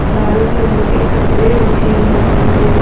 लाल colour के कपड़े बिछे हुए हैं।